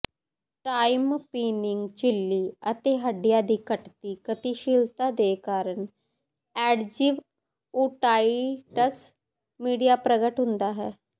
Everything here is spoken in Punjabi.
ਟਾਈਮਪਿਨਿਕ ਝਿੱਲੀ ਅਤੇ ਹੱਡੀਆਂ ਦੀ ਘਟਦੀ ਗਤੀਸ਼ੀਲਤਾ ਦੇ ਕਾਰਨ ਐਡਜ਼ਿਵ ਓਟਾਈਟਸ ਮੀਡੀਆ ਪ੍ਰਗਟ ਹੁੰਦਾ ਹੈ